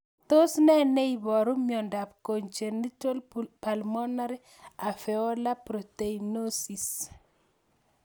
Tos nee neiparu miondop Congenital pulmonary alveolar proteinosis?